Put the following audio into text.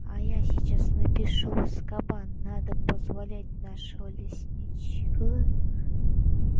а я сейчас напишу в азкабан надо позволять нашего лесничего